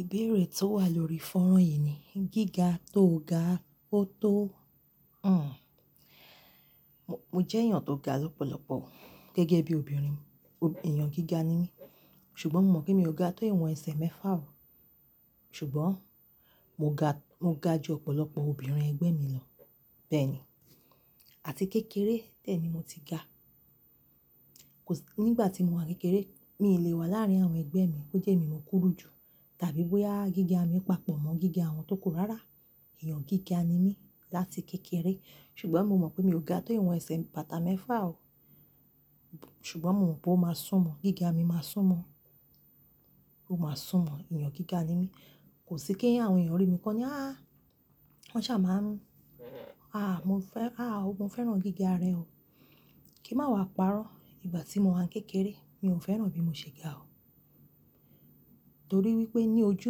Ìbéèrè tó wà lórí fọ́nrán yìí ni, gíga tó ga ó tóo. Mo jẹ́ èèyàn tó ga lọ́pọ̀lọpọ̀, gẹ́gẹ́ bí obìnrin, èèyàn gíga ni mí. Ṣùgbọ́n, mo mọ̀ pé mi ò ga tó ìwọ̀n ẹsẹ̀ mẹ́fà o. Ṣùgbọ́n mo ga, mo ga ju ọ̀pọ̀lọpọ̀ obìnrin ẹgbẹ́ mi lọ. Bẹ́ẹ̀ ni. Àti kékeré, bẹ́ẹ̀ ni mo ti ga. Kòsi, nígbà tí mo wà kékeré, mi lè wà láàárín àwọn ẹgbẹ́ mi bó jẹ́ mi wọ́n kúrú jù, tàbí bóyá gíga mi papọ̀ mọ́ gíga àwọn tó kú rárá. Ẹ̀yàn gíga ni mí láti kékeré. Ṣùgbọ́n mo mọ̀ pé mi ò ga tó ìwọ̀n ẹsẹ̀ bàtà mẹ́fà o. Ṣùgbọ́n mo mọ̀ pé ó máa sún mọ́, gíga mi máa sún mọ́. Ó máa sún mọ́, èèyàn gíga ni mí. Kòsí, kí àwọn èèyàn rí mi kó ní, wọ́n ṣà máa ń, mo fẹ́ràn gíga rẹ o. kí n má wa parọ́. Ìgbà tí mo wà kékeré, mi ò fẹ́ràn bí mo ṣe ga o. Torí wípé ní ojú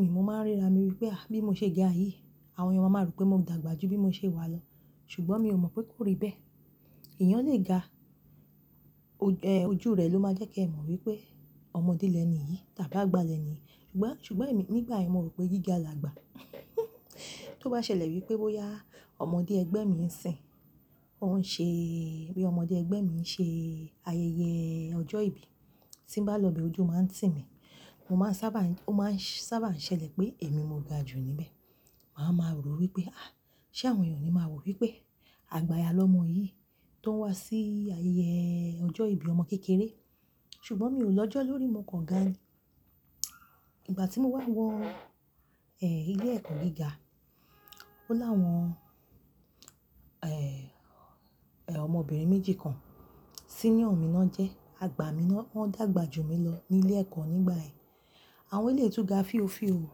mi, mo máa ń ríra mi wípé, bí mo ṣe ga yìí. Àwọn èèyàn máa mọ̀ pé mo dàgbà jù bí mo ṣe wà lọ. Ṣùgbọ́n, mi ò mọ̀ pé kó rí bẹ́ẹ̀. Ẹ̀yàn lè ga, ojú rẹ̀ ló máa jẹ́ kí ẹ mọ̀ wípé ọmọdé lẹ̀ni yìí tàbí àgbà lẹ̀ni yìí. Ṣùgbọ́n, èmi nígbà yẹn mo rò pé gíga làgbà. Tó bá ṣẹlẹ̀ wípé bóyá ọmọdé ẹgbẹ́ mi ń sìn, bóyá ọmọdé ẹgbẹ́ mi ń ṣe ayẹyẹ ọjọ́ ìbí, tí ń bá lọ bẹ́ẹ̀ ojú máa ń tì mí. Ó máa ń sábà ṣẹlẹ̀ pé èmi mo ga jù níbẹ̀. Màma rò wípé, ṣe àwọn èèyàn ni máa wò wípé, àgbàya lọ́mọ yìí tó ń wá sí ayẹyẹ ọjọ́ ìbí ọmọ kékeré. Ṣùgbọ́n mi ò lọ́jọ́ lórí, mo kàn ga ni. Ìgbà tí mo wá wọ ilé ẹ̀kọ́ gíga, ó láwọn, ọmọbìnrin méjì kan. Senior mi lọ́ jẹ́, wọ́n dàgbà jù mí lọ ní ilé ẹ̀kọ́ nígbà ẹ́. Àwọn eyìí tóo ga fíòfíò o,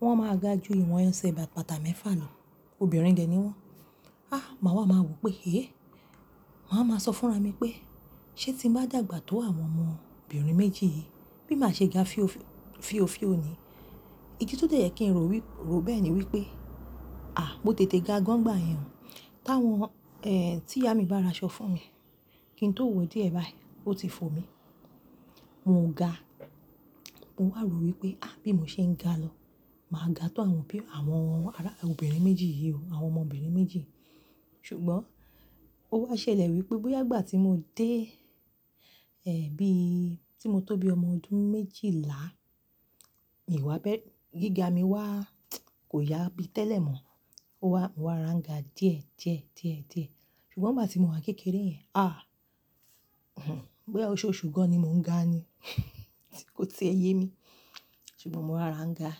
wọ́n máa ga ju ìwọ̀n ẹsẹ̀ bàtà mẹ́fà lọ. Obìnrin dẹ̀ ni wọ́n. Màá wà máa wò pé, màá wa sọ fúnra mi pé, "Ṣé tí mo bá dàgbà tó àwọn ọmọbìnrin méjì yìí, bí màá ṣe ga fíòfíò ni. Igi tó dẹ̀ jẹ́ kí n rò bẹ́ẹ̀ ni wípé. Mo tètè ga gan gbà yàn." Tí ìyá mi bá raṣọ fún mi, kí n tó wo díẹ̀ báyìí, ó ti fo mi. Mo ò ga. Mo wà rò wípé, bí mo ṣe ń ga lọ. Màá ga tó wọn ọmọ obìnrin méjì yìí o, ṣùgbọ́n ó wá ṣẹlẹ̀ wípé, bóyá ìgbà tí mo dé, bí tí mo tó bí ọmọ ọdún méjìlá, gíga mi wá kò yá bí tẹ́lẹ̀ mọ́. Mo wá rárá ga díẹ̀díẹ̀. Ṣùgbọ́n, ìgbà tí mo wà kékeré yẹn. Bóyá oṣoṣù gan ni mò ń ga ni, kó ti ẹ yẹmi. Ṣùgbọ́n mo wá rárá ga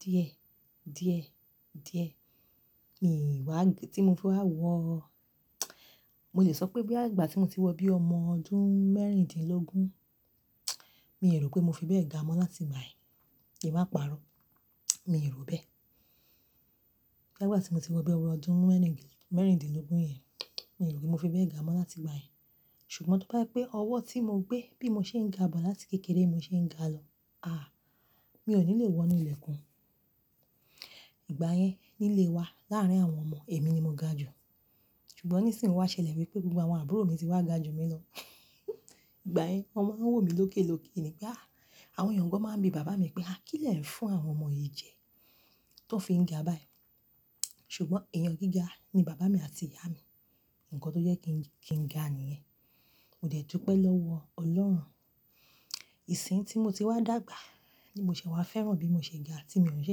díẹ̀díẹ̀. Mo lè sọ pé bóyá ìgbà tí mo ti wọ bí ọmọ ọdún mẹ́rindínlógún, mi ò rò pé mo fi bẹ́ẹ̀ ga mọ́ láti báyìí. Kí n má parọ́. Mi ò rò bẹ́ẹ̀. Bóyá ìgbà tí mo ti wọ bí ọmọ ọdún mẹ́rindínlógún yẹn, mi ò rò pé mo fi bẹ́ẹ̀ ga mọ́ láti báyìí. Ṣùgbọ́n tó bá pé ọwọ́ tí mo gbé bí mo ṣe ń ga bọ̀ láti kékeré mo ṣe ń ga lọ, mi ò ní lè wọ inú ilẹ̀ kún. Ìgbà yẹn, nílé wa láàárín àwọn ọmọ, èmi ni mo ga jù. Ṣùgbọ́n, nísìnyí ó wá ṣẹlẹ̀ wípé gbogbo àwọn àbúrò mi ti wá ga ju mi lọ. Ìgbà yẹn wọ́n máa ń wò mí lókèloke ni, àwọn èèyàn gan máa ń bi bàbá mi pé, "Kí lẹ̀ ń fún àwọn ọmọ yìí jẹ tó fi ń ga báyìí?" Ṣùgbọ́n èèyàn gíga ni bàbá mi àti ìyá mi. Ǹkan tó jẹ́ kí n ga níyẹn. Mo dẹ̀ dúpẹ́ lọ́wọ́ Ọlọ́run. Ìsìn tí mo ti wá dàgbà, ní mo ṣe wá fẹ́ràn bí mo ṣe ga tí mi ò ṣe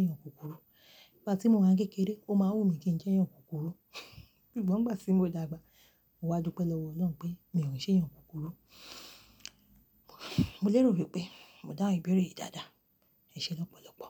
èèyàn kúkúrú. Ìgbà tí mo wà kékeré, ó máa ń wù mí kí n jẹ́ èèyàn kúkúrú. Ṣùgbọ́n ìgbà tí mo dàgbà, mo wá dúpẹ́ lọ́wọ́ Ọlọ́run pé mi ò ṣe èèyàn kúkúrú. Mo lérò wípé mo dá ìbéèrè yìí dáadáa. Ẹ ṣé lọ́pọ̀lọpọ̀.